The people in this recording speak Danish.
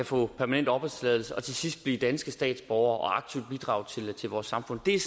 få permanent opholdstilladelse og til sidst blive danske statsborgere og aktivt bidrage til vores samfund det er